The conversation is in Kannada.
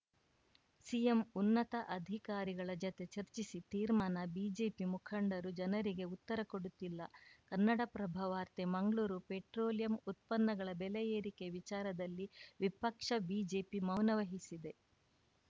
ಸಿಎಂ ಉನ್ನತ ಅಧಿಕಾರಿಗಳ ಜತೆ ಚರ್ಚಿಸಿ ತೀರ್ಮಾನ ಬಿಜೆಪಿ ಮುಖಂಡರು ಜನರಿಗೆ ಉತ್ತರ ಕೊಡುತ್ತಿಲ್ಲ ಕನ್ನಡಪ್ರಭ ವಾರ್ತೆ ಮಂಗ್ಳೂರು ಪೆಟ್ರೋಲಿಯಂ ಉತ್ಪನ್ನಗಳ ಬೆಲೆ ಏರಿಕೆ ವಿಚಾರದಲ್ಲಿ ವಿಪಕ್ಷ ಬಿಜೆಪಿ ಮೌನವಹಿಸಿದೆ